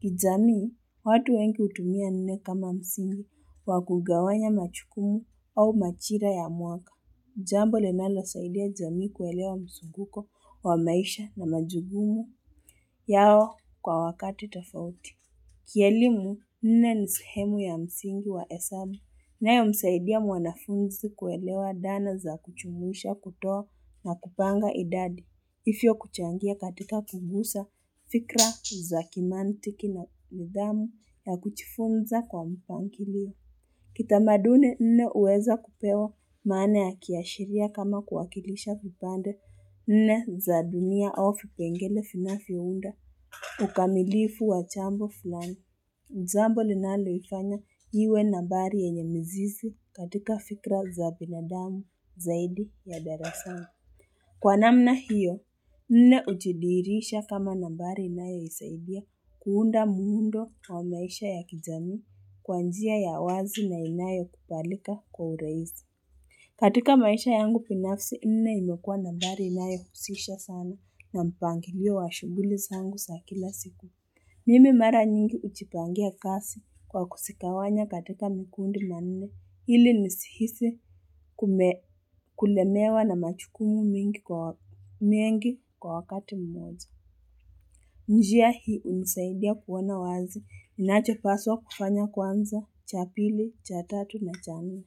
Kijamii, watu wengi hutumia nne kama msingi, wa kugawanya majukumu au majira ya mwaka. Jambo linalosaidia jamii kuelewa mzunguko wa maisha na majukumu yao kwa wakati tofauti. Kielimu nne ni sehemu ya msingi wa hesabu, inayomsaidia mwanafunzi kuelewa dhana za kujumuisha, kutoa na kupanga idadi, hivyo kuchangia katika kugusa, fikra za kimantiki na nidhamu ya kujifunza kwa mpangilio. Kitamaduni nne huweza kupewa maana ya kiashiria kama kuwakilisha vipande nne za dunia au vipengele vinavyounda ukamilifu wa jambo fulani. Jambo linaloifanya iwe nambari yenye mizizi katika fikra za binadamu zaidi ya darasani. Kwa namna hiyo, nne hujidhihirisha kama nambari inayosaidia kuunda muundo wa maisha ya kijamii kwa njia ya wazi na inayokubalika kwa urahisi. Katika maisha yangu binafsi nne imekua nambari inayohusisha sana na mpangilio wa shughuli zangu za kila siku. Mimi mara nyingi hujipangia kazi kwa kuzigawanya katika mikundi manne ili nisihisi kulemewa na majukumu mengi kwa wakati mmoja. Njia hii hunisaidia kuona wazi. Ninachopaswa kufanya kwanza cha pili, cha tatu na cha nne.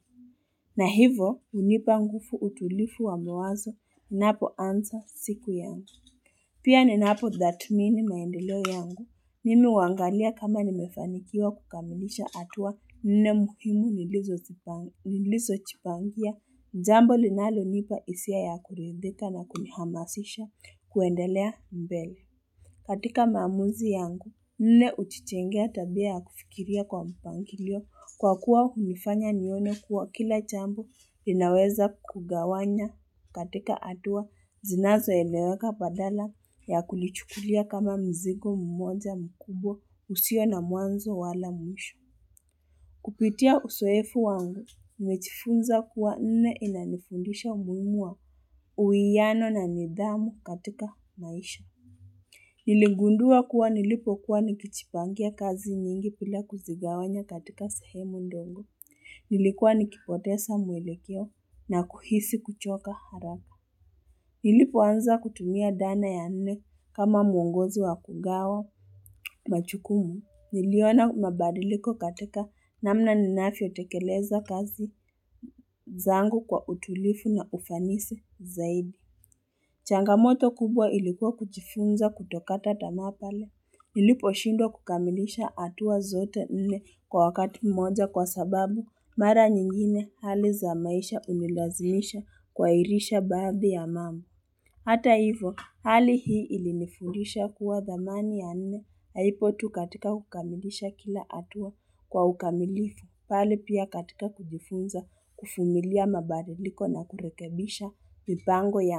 Na hivo hunipa nguvu, utulivu wa mawazo. Napoanza siku yangu. Pia ninapo thatmini maendeleo yangu. Mimi huangalia kama nimefanikiwa kukamilisha hatua nne muhimu nilizojipangia, jambo linalonipa hisia ya kuridhika na kunihamasisha kuendelea mbele. Katika maamuzi yangu, nne hutujengea tabia ya kufikiria kwa mpangilio kwa kuwa hunifanya nione kuwa kila jambo ninaweza kugawanya. Katika hatua, zinazoeleweka badala ya kulichukulia kama mzigo mmoja mkubwa usio na mwanzo wala mwisho. Kupitia uzoefu wangu, nimejifunza kuwa nne inanifundisha umuhimu wa uwiano na nidhamu katika maisha. Niligundua kuwa nilipokuwa nikijipangia kazi nyingi bila kuzigawanya katika sehemu ndogo. Nilikuwa nikipoteza mwelekeo na kuhisi kuchoka haraka. Nilipoanza kutumia dhana ya nne kama mwongozo wa kugawa. Majukumu, niliona mabadiliko katika namna ninavyotekeleza kazi zangu kwa utulivu na ufanisi zaidi. Changamoto kubwa ilikuwa kujifunza kutokata tamaa pale. Niliposhindwa kukamilisha hatua zote nne kwa wakati mmoja kwa sababu mara nyingine hali za maisha hunilazimisha kuhairisha baadhi ya mambo. Hata hivyo hali hii ilinifundisha kuwa dhamani ya nne haipo tu katika kukamilisha kila hatua kwa ukamilifu bali pia katika kujifunza, kuvumilia mabadiliko na kurekebisha mipango yangu.